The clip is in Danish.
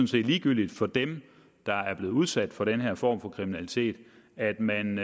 set ligegyldigt for dem der er blevet udsat for den her form for kriminalitet at man